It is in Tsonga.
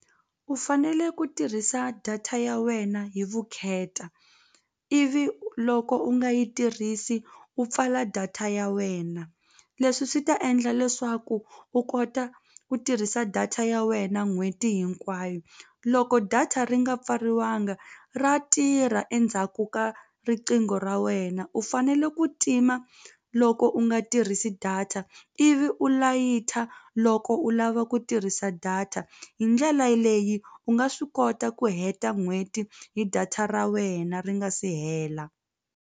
U fanele ku tirhisa data ya wena hi vukheta ivi loko u nga yi tirhisi u pfala data ya wena leswi swi ta endla leswaku u kota ku tirhisa data ya wena n'hweti hinkwayo loko data ri nga pfariwanga ra tirha endzhaku ka riqingho ra wena u fanele ku tima loko u nga tirhisi data ivi u layita loko u lava ku tirhisa data hi ndlela leyi u nga swi kota ku heta n'hweti hi data ra wena ri nga si hela.